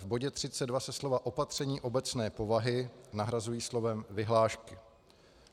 V bodě 32 se slova "opatření obecné povahy" nahrazují slovem "vyhlášky".